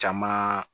Caman